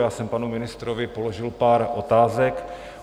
Já jsem panu ministrovi položil pár otázek.